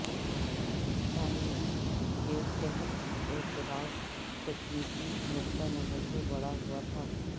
تعمیر کے تحت اعتراض تکنیکی نقطہ نظر سے بڑھا ہوا تھا